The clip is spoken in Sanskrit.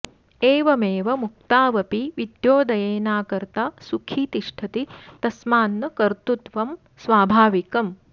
एवमेव मुक्तावपि विद्योदयेनाकर्ता सुखी तिष्ठति तस्मान्न कर्तृत्वं स्वाभाविकम्